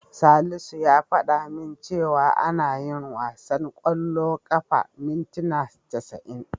Salisu ya fada min cewa ana yin wasan ƙwallon ƙafa mintina casa'in.